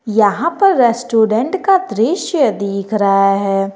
यहां पर रेस्टोरेंट का दृश्य दिख रहा है।